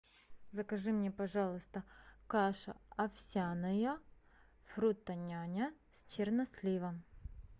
закажи мне пожалуйста каша овсяная фрутоняня с черносливом